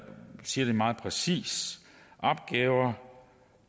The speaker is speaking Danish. siger det meget præcist opgaver